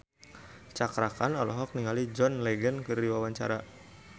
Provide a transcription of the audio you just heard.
Cakra Khan olohok ningali John Legend keur diwawancara